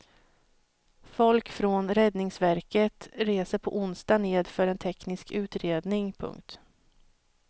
Folk från räddningsverket reser på onsdag ned för en teknisk utredning. punkt